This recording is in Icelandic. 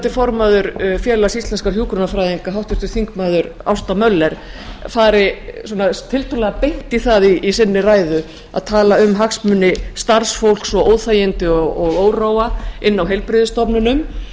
formaður félags íslenskra hjúkrunarfræðinga háttvirtur þingmaður ásta möller fari svona tiltölulega beint í það í sinni ræðu að tala um hagsmuni starfsfólks og óþægindi og óróa inni á